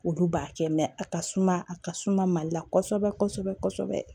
Olu b'a kɛ a ka suma a ka suma mali la kosɛbɛ kosɛbɛ